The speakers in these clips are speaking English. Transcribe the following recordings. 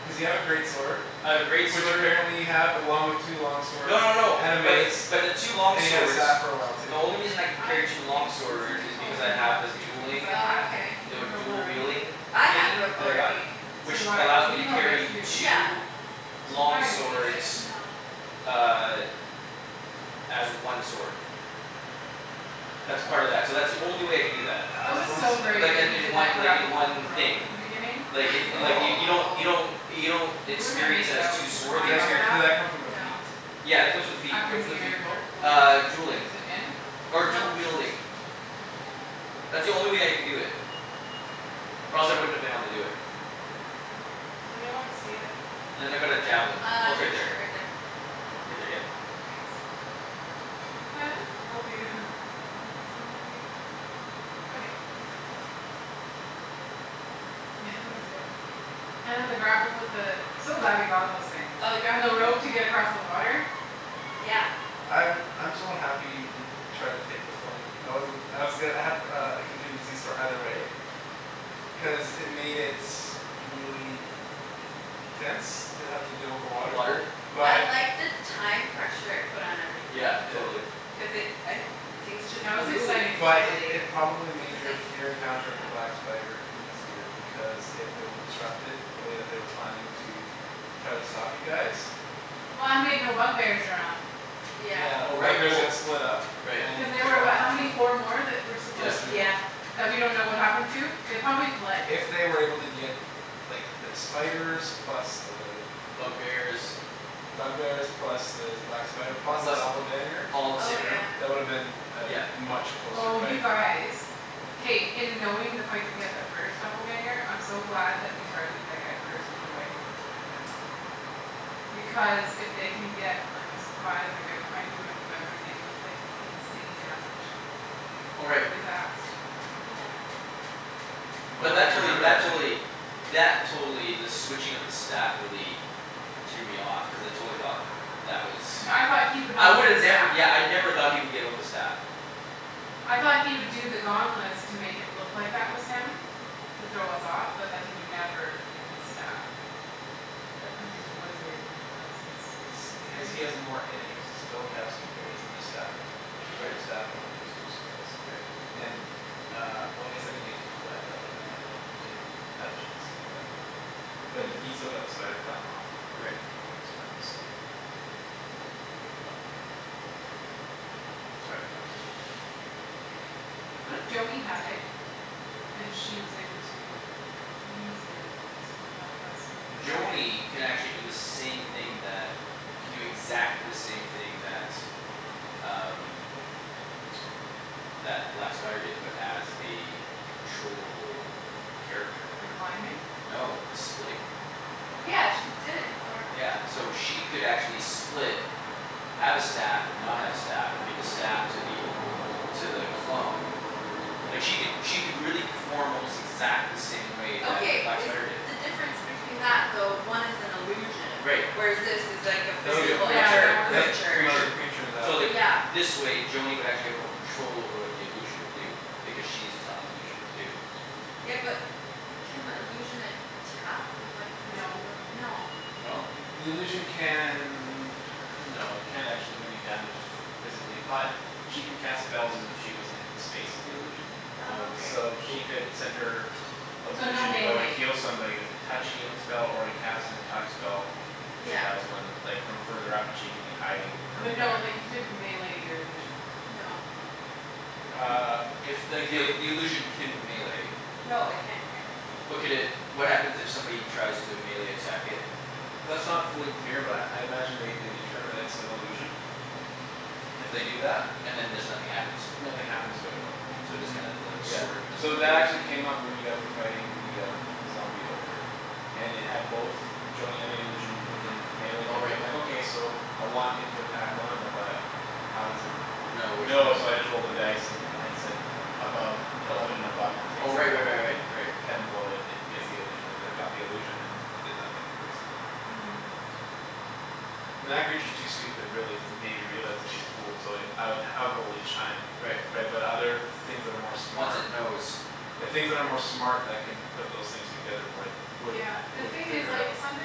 Cuz you have a great sword. I have a great Which sword apparently you have along with two long swords No no no and a but the mace. but the two long And you had a swords staff for a while The too. only reason I can I carry two long think that swords somebody is told because me I not have a to because dueling I had Okay fifty The feet of w- rope dual already wielding I had thingy rope that I got Yeah. already So Which do I. allows me He to he probably does carry too. Yeah two So we Long probably Oh didn't need it. s- swords no Uh As one sword. That's part of that. So that's the only way I can do that. That As was one so sword? great Like uh that you in did one that like in grapple with the one rope thing. at the beginning Like it it like y- Oh you don't you I know don't You don't We wouldn't have made experience it it as out two to Did swords, you that climb c- up experience did that that. come from a feat? No Yeah it comes with the feat. After What's the near feat dr- called? oh. Uh dueling. Is it in? Or dual Nope wielding. That's the only way I can do it. Or else I wouldn't have been able to do it. Does anyone see it? And then I've got a javelin. Uh Oh it's on right your there. shirt right there Right there yep Thanks Told you, they don't stay in my ears. Okay Yeah that was good. And then the grapple with the So glad we got those things. Oh we got And the rope to get across the water. Yeah I'm I'm somewhat happy he Tried to take the flame. I wasn't I was go- I had uh contingencies for either way Cuz it made it really Tense to have to deal with the Water water I But liked the time pressure it put on everything. Yeah Yeah totally. Cuz it I things just That was moved exciting. But it finally it probably I made guess your like Your encounter with the felt black spider easier Because it really disrupted the way that they were planning to Try to stop you guys Well and we had no bug bears around. Yeah Yeah Oh the bug right bears well got split up right Cuz And you they took were out what how half of many? them Four more? That were Yeah supposed There's three to more. Yeah That we don't know what happened to? They probably fled. If they were able to get Like their spiders plus the Bug bears Bug bears plus the black spider plus the Plus th- doppelganger all the Oh same room yeah That woulda been Yep A much closer Oh you fight. guys. K, in knowing the fight that we had that first doppelganger I'm so glad that we targeted that guy first in a way. Because if they can get like a surprise and get behind you and whatever they can do like insane damage. Oh right. Really fast. Yeah But Oh that you totally remember that that don't totally you? That totally the switching of the staff really Threw me off cuz I totally thought That was Yeah I thought he would I not get a would've never staff. yeah I never thought he would give up the staff. I thought he would do the gauntlets to make it look that was him To throw us off but that he would never give his staff. Yeah Cuz he's a wizard and that's his. It's That's he has he crazy. has more innate Spell casting abilities than his staff. Gives him. If you read the Right staff it only gives two spells. Right And uh well I guess they didn't get to use web, that woulda been handy if they Had a chance to do that. But he still got the spider climb off. From Right from his friend so From the doppelganger. The spider clam was cool. Yeah What It's if pretty Joany had it cool. And she was able to use it to help us with the dragon? Joany can actually do the same thing that Can do exactly the same thing that um That the black spider did but as a Controllable character. The climbing? No the splitting. Yeah she did it before. Yeah so she could actually split Have a staff and not have a staff or give a staff to the To the clone Like she could she could really perform almost exactly the same way that the Okay black is spider did. the difference between that though one is an illusion Right. Whereas this is like a That was a physical Yeah other that creature. was a Right. that was creature. One of Creature the creatures that So like Yeah this way Joany would actually have more control over what the illusion would do. Because she's telling the illusion what to do. Yeah but can illusion attack with like a physical No wea- no No? The the illusion can No it can't actually do any damage. Physically but she can cast Spells as if she was in the space of the illusion Oh Okay So okay. she cool. could send her So no Illusion to go and melee heal somebody with a Touch healing spell or to cast an attack spell. If she Yeah has one like from further up and she can be hiding further But no back like you couldn't melee your illusion. No Uh if like The ill- it the illusion can melee No it can't melee. But could it what happens if somebody tries to melee attack it? That's not fully clear but I I imagine they determine it's an illusion If they do that And then just nothing happens? Nothing happens to it no. So it just kinda the Yeah, sword would just so go through that it? actually came up when you guys were fighting the um The zombie ogre. And it had both Joany and the illusion within Melee Oh range right. I'm like okay so I want it to attack one of them but How does it No which know one? so I just rolled a dice. And at said above Eleven and above it Oh picks the right right real right one right and right. Ten and below it gets the illusion and it Right. Got the illusion and it did nothing basically. And that creature's too stupid really to maybe realize it's being fooled so I would I would roll each time. Right Right but other things that are more Once smart it knows. The things that are more smart that can Put those things together would would Yeah the Would thing is figure it like out. something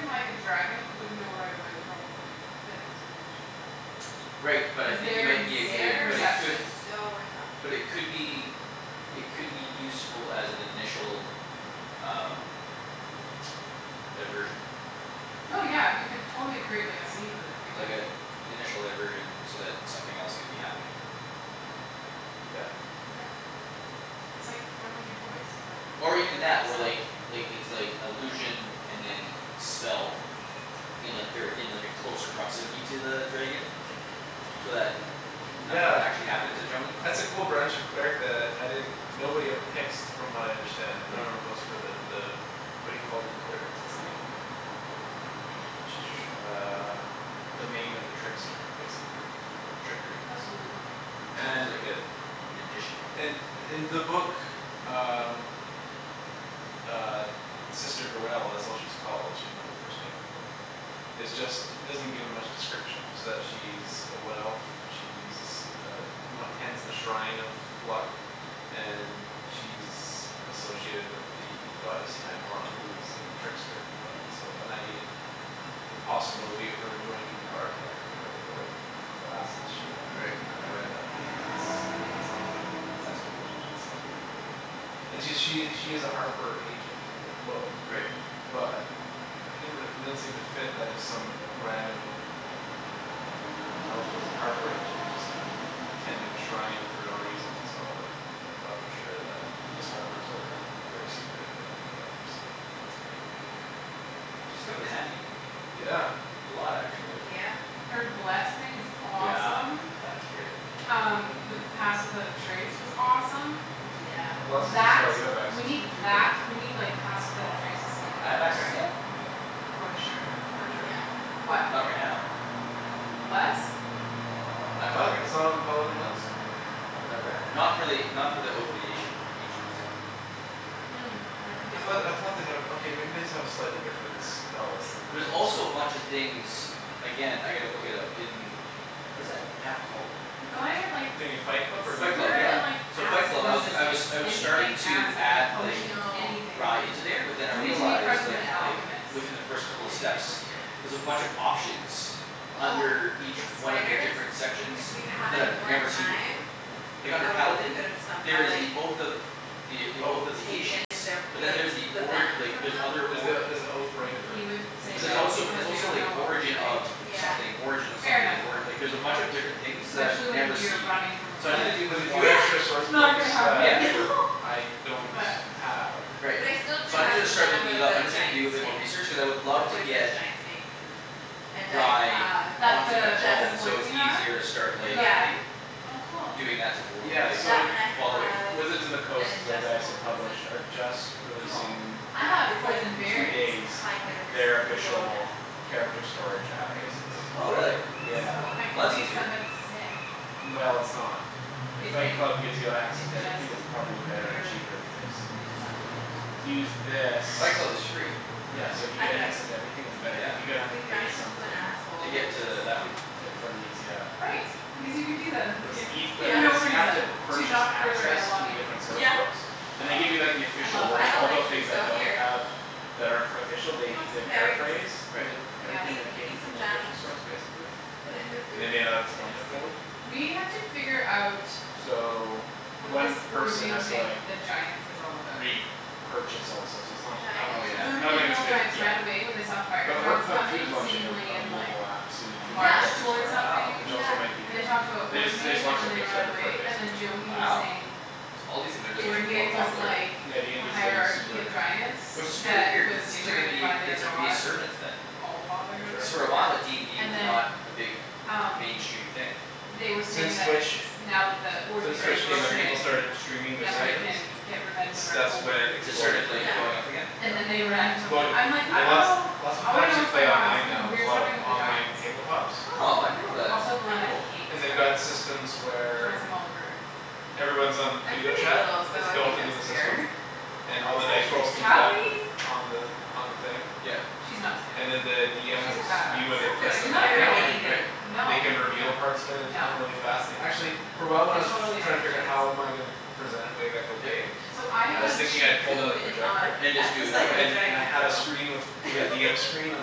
like a dragon would know right away probably. That it was an illusion Right but I cuz think you their might be a good insane but it could They're perception. so But intelligent. it could be It could be useful as an initial um Diversion. Oh yeah you could totally create like a scene with it big Like time. a initial diversion so that something else could be happening. Yeah. Yep. It's like throwing your voice, but Or even your that or self. like like it's like illusion and then spell. Yeah. In a ver- in like a closer proximity to the dragon. Yeah So that nothing would actually Yeah happen to Joany. that's a cool branch of cleric that I didn't Nobody ever picks from what I understand like No Hmm one ever goes for the the What do you call it in clerics it's the Uh Domain of the trickster Hmm basically. Of trickery. That's really cool. It's almost like And Mhm a magician. And in the book uh Uh Sister Gurell that's what she's called she didn't have her first name in the book. Is just doesn't give me much description it's just she's A wood elf. She's uh Tends the shrine of luck And she's Associated with the goddess Timora who is like a trickster god so and I needed The possibility of her joining the party I had to figure out okay what Class is she gonna be Right. and then I read that line oh yeah that's that sounds like That's That's cool. cool. That sounds pretty Mhm. cool And she she's a harper agent in the book Right. But It didn't re- it didn't seem to fit that just some random Elf was a harper agent and just Tending a shrine for no reason so uh I thought for sure that cuz harpers are Very secretive of undercover so that's where She's Tha- come in that seems like handy. yeah A lot actually. Yeah Her bless thing is Yeah awesome. Fuck that's yeah great. Um the pass without a trace was awesome Yeah Bless is a That spell you have we access need to too though that right we Ye- need like pass without a trace to sneak I up have on a access to dragon. that? Yeah For sure. That's pretty sure Yeah What? Not right now Bless? I I'm not thought right it it's not on the paladin list? Not that I've read. Not for the not for the oath of the Asian ancients. Hmm, that could be I a thought lie. I thought they had a okay maybe they just have a slightly different Spell list than the There's clerics also a bunch of things Again I gotta look it up in Was that app called? We've gotta get like The thing in Fight Club or Fight Club DND silver yeah. and like beyond? So Fight Acid Club. I was g- I was resistance. I was starting Anything to acid. add Like I like potions, know. anything. Rye into there but then I We need to make friends realized with like an h- like alchemist Within the first couple of in steps Neverwinter. There's a Yes bunch of options Oh Under each those one of the spiders different sections If we That had I've more never seen before. time Hmm Like under I wonder if we Paladin, could've there somehow is like the oath of The oath of Oath the ancients. Taken their But then like Yeah there's the the ori- venom like from there's them other There's the org there's the oath breaker He would Did you say But see there's that one? that also there's because we also don't like know what we're origin of doing Yeah Something origin of Fair something enough or- Yeah like though. there's a bunch of different things for sure that I've Especially when never you're seen. running from a There's So I need to flood. a do a there's bit a more few extra Yeah source Not books gonna yeah that happen. I don't But have Right. But I still do So i needed have Which to the start venom looking of it up. I the just need to giant do a bit more snake research cuz I would A love to poisonous get giant snake And I Rye have an That's onto my the the phone ingest so it's poison you have easier to start in like the yeah thing? Oh cool Doing that type of wor- Yeah like That so and I following. have Wizards of the an Coast the guys ingestible who poison. publish are just Cool. Releasing I That have is like poison in two berries. days kind of Their slow official death character Which is storage app great. basically. Oh really. Yeah Slow I Well painful could that's make easier. death. somebody sick Well it's not If If Fight they Club gives you access to everything it's ingested the probably better and cheaper berries because in something. To to use this Fight Club is free Yeah currently so if you I get access mean to everything it's better Yeah cuz you're gonna have to We pay run into an something. To asshole we get could just to that one To to for these yeah. Right, because you can do that in this What's game. eas- For Yeah no cuz you have to reason. To Purchase not further access to along the anything. different source Yeah books And they Ah give you like the I official love I wording that. don't all like the you things so that don't here have That are for official they Have they some berries, paraphrase Right Yeah everything eat that came eat some from the jam official source basically. Put it in their And they food. may not Put it explain in it stew. fully. We have to figure out So What this One person ordening has to thing like with the giants is all about. re-purchase all the stuff so it's The not I don't Oh think it's giants? Cuz good yeah. remember I the don't think it's hill good giants ran yet. away when they saw The fire orc giants pub too is coming launching a seemingly a in like mobile app Soon A too Yeah for march character toward storage Wow which something yeah also might be And they good talked about They just they just ordening and launched their then they ran Kickstarter for it away, and then basically. Joany was Wow saying so all these things are like It's getting more weird Ordening cuz was popular. like Yeah The DND's getting hierarchy of super giants Which is fear That weird cuz was it seems like it'd determined be by their it's a god resurgence the then. For Allfather or sure. Cuz for whatever a while uh Yeah DND and was not then a big Um mainstream thing they were saying Since that Twitch Now that the since ordening Right is Twitch came in people streaming broken started streaming their Yeah Then we right sessions. can get revenge It's on our that's when over it It just rulers exploded. started or like whatever. going up Yeah again? And then they Yeah ran from them. Exploded I'm like, "I and dunno. lot Lots of I people wanna know actually what's play going on." online Something now. There's a weird's lot of happening with the online giants. tabletops Oh I I didn't know that. Also didn't like Velana Cool. hates They've got giants. systems She wants where them all to burn. Everyone's on I'm video pretty little chat. so It's I built think into I'm the scared. system And She's all the like dice this rolls can be tough done with Cali On the on the thing Yep She's not scared. And then the DM has She's a s- badass. view where I they don't feel place like the You're she's not mat scared of afraid of down and anything. Right anything. No. They can No reveal parts of it at a No. time really fast and actually For a while when I I was totally don't trying to think figure she is. how am I gonna Present it wave echo Yep cave So I I I was have mean thinking she I'd pull down the cooed and awwed projector And at just do the it that sight of a way. And and I dragon had a so screen with With a Yep DM screen on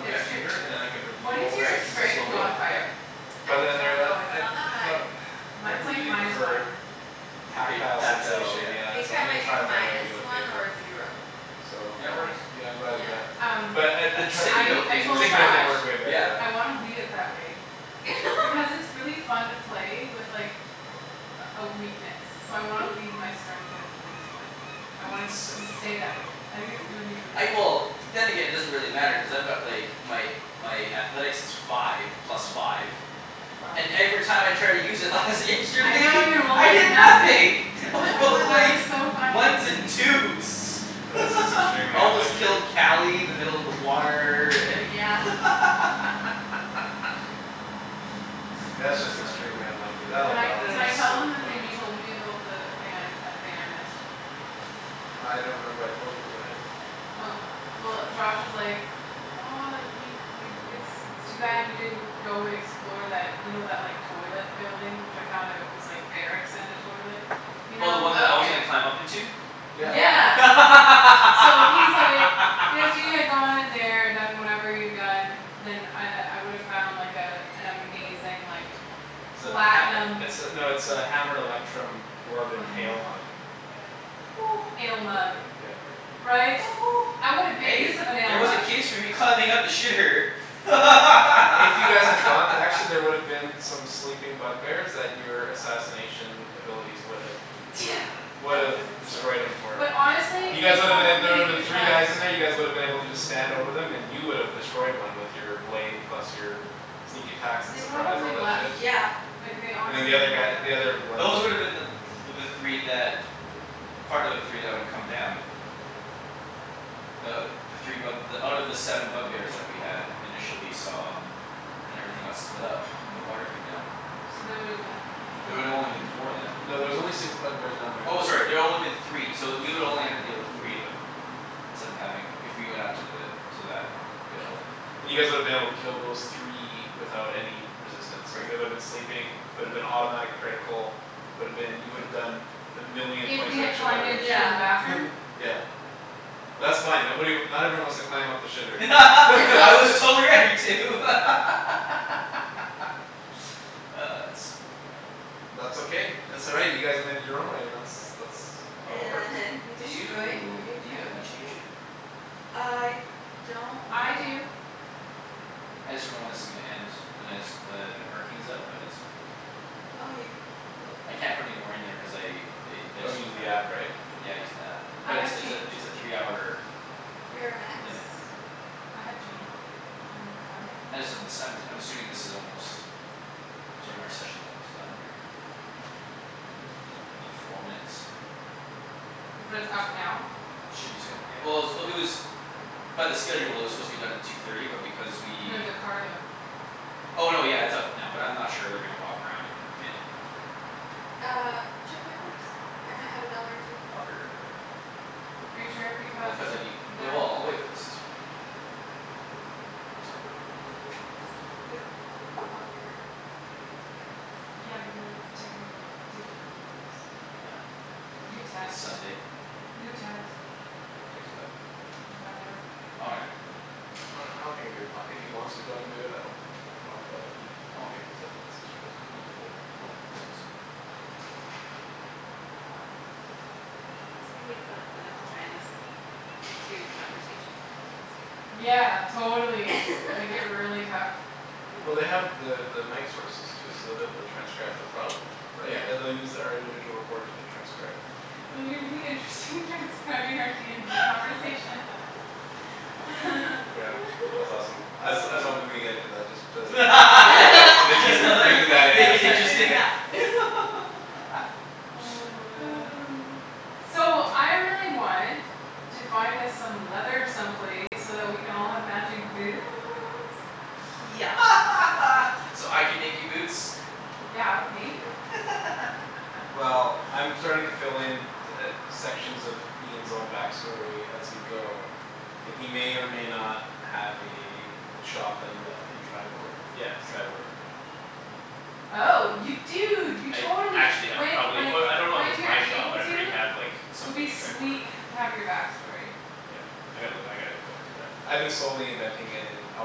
the It's yep true. computer and then I could What is Reveal Right your sections as we strength go slowly yep modifier? I But then I don't rea- know, it's I not that I high. thought I'd Mine's like really minus prefer one. The pap- tactile tactile sensation yep I yeah think so I I'm gonna might be try to find a way to minus do it with one or paper. zero. So Yeah it Okay works yeah I'm glad I did Yeah that. Um But I I The sticky trie- I note I thing works told Josh Sticky great note thing I was way better yeah yeah. wanna leave it that way. Because it's really fun to play with like A a weakness. So I wanna leave my strength at minus one. I want it It's to so s- stay funny. that way. I think it's gonna be really I fun. well then again Yeah it doesn't really matter cuz I've got like My my athletics is five plus five Wow And every time I tried to use it lies I yesterday know you rolled I like hear nothing. nothing. I was rolling That like was so funny. Ones and twos That's just extremely I almost unlucky. killed Cali in the middle of the water and Oh yeah That's just extremely unlucky. That'll Can I balance can I tell out. So them the thing funny you told me about the thing I that thing I missed? Oh I don't remember what I told you but go ahead. Oh well Josh was like, "Oh you you it's it's too bad you didn't go and explore that." You know that like toilet building which I found out was like Barracks and a toilet? You Oh the one know? that I was Okay gonna climb up into? Yeah Yeah. Yeah So he's like, "If you had gone in there and done whatever you'd done." Then I I would've found like a An amazing like It's a Platinum pat- it's a no it's like a hammered electrum Oh dwarven hammer ale mug. electrum Ale mug. Yeah Right? I would've made Hey use of an ale there was a mug. case for me climbing up the shitter If you guys had gone actually there would've been some sleeping bug bears that your assassination abilities would have Yeah that woulda been Would've so destroyed 'em for But That honestly, You woulda guys they woulda been been a- so there woulda been probably three guys left. in there you guys woulda been able to just Stand over 'em and you would've destroyed one with Your blade plus your Sneak attacks and They surprise all probably that left. shit. Yeah Like they And the honestly they other guy probably the other left. ones Those would woulda them the the three that Part of the three that would come down Uh the three bug out of the seven bug bears that we had initially saw Then everything got split up when the water came down. So they woulda been There four would've only been four then. No there's only six bug bears down there in Oh total. sorry there only been three so we would only have to deal with three of them Instead of having if we went up to the to that one and Yeah killed 'em. and you guys woulda been able to kill those three Without any resistance cuz Right they woulda been sleeping Would've been automatic critical Would've been you would've done A million If points we of had extra climbed in damage through Yeah the bathroom? Yeah That's fine nobody not everyone wants to climb up the shitter I was totally ready to It's so funny. That's okay that's all right you guys made it your own way that's that's how it works. And we Do destroyed you Wave do you have any Echo change? Cave. I don't I know do I just dunno when this is gonna end and I just but my parking is up but it's Oh you put I can't put any more in there cuz I i- I Oh just you don't used the have app right? Yeah I used the app I but it's have it's a change. it's a three hour Three hour max limit I have change. Do you want me to go find it? I just uh this Yeah I'm t- I'm assuming this is almost I'm assuming our session's almost done here Another four minutes. But it's Or so. up now? Should be soon yeah. Well it was it was by the schedule it was supposed to be done at two thirty but because we No the car though. Oh no yeah it's up now but I'm not sure they're gonna walk around in a minute. Uh check my purse. I might have a dollar or two. I'll figure it out later. Are you sure? Well Because cuz I need but they're well I'll wait for this it's fine. Okay It's fine. Well this could go a little longer I don't want you to get a ticket. Yeah because of technical difficulties. Whatever, You could it's text. Sunday. You could text. Text what? And find out Oh yeah no Well I don't think it'd be a pro- if he wants to do it I don't think it'd be a problem but if he I'm okay. it's up it's his choice. Unlikeable it's only a couple minutes. It's gonna be fun for them to try and listen to two conversations going on at the same time. Yeah totally make it really tough. Well they Yeah have the the mic sources too so they'll be able to transcribe no problem Yeah. Yeah Right they they'll use our individual recorders to transcribe. Oh it'll be really interesting transcribing out DND conversations. Yeah that's awesome. I was I was hoping we would get into that just to make it that make you Just to like make it that make it interesting. interesting Yeah Oh man So I really want to find us some leather some place so that we can all have matching boots. Yes So I can make you boots? Yeah I would pay you. Well I'm starting to fill in t- uh sections of Ian's own back story as we go And he may or may not Have a shop that he left in Triboar. Yeah Triboar Oh you I dunno dude you I totally actually sh- have when probably like oh I don't know if When it's you're my shop able but I pretty to have like It would Something be in Triboar. sweet h- to have your back story. Yeah I gotta look I gotta go into that. I've been slowly inventing it and I'll